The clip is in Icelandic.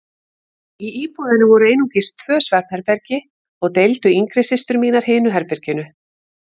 Í íbúðinni voru einungis tvö svefnherbergi og deildu yngri systur mínar hinu herberginu.